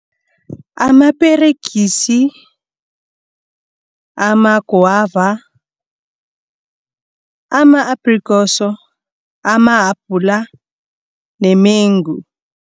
Amaperegisi, amagwava, ama-applekoso, amahapula nemengu.